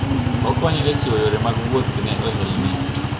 Okonyo e chiwo yore mag wuoth ne ohelni.